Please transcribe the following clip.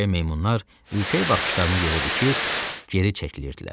Erkək meymunlar ürkək baxışlarını yerə dikir, geri çəkilirdilər.